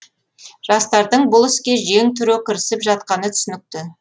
жастардың бұл іске жең түре кірісіп жатқаны түсінікті